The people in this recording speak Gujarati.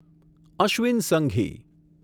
અશ્વિન સંઘી